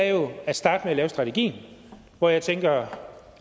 er jo at starte med at lave strategien hvor jeg tænker